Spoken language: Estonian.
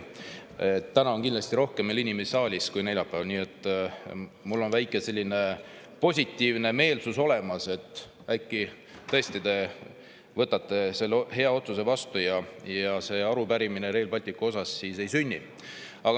Täna on kindlasti veel rohkem inimesi saalis kui neljapäeval, nii et mul on väike selline positiivne meelestatus olemas, et äkki te tõesti võtate selle hea otsuse vastu ja sel juhul seda arupärimist Rail Balticu kohta siis ei sünnigi.